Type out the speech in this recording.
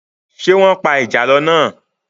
Ṣé wọ́n pa ìjàlọ́ náà?